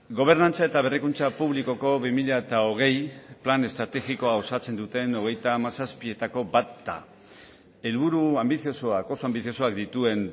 gobernantza eta berrikuntza publikoko bi mila hogei plan estrategikoa osatzen duten hogeita hamazazpietako bat da helburu anbiziosoak oso anbiziosoak dituen